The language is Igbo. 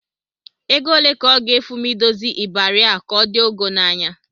Ego ole ka ọ ga-efu m idozi ịbarị a ka ọ dị ọgọ n'anya?